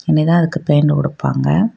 இனி தான் அதுக்கு பெயிண்ட் குடுப்பாங்க.